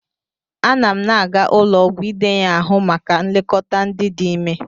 Ana n aga ụlọ ọgwụ idenye ahụ maka nlekọta ndị dị ime.